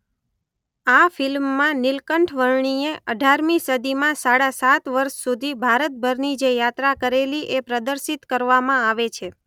આ ફિલ્મમાં નીલકંઠ વર્ણી એ ૧૮ મી સદીમાં સાડા સાત વર્ષ સુધી ભારતભરની જે યાત્રા કરેલી એ પ્રદર્શિત કરવામાં આવે છે.